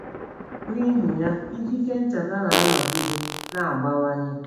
N’ihi ya, ikike ncheta na - anọgide na - abawanye.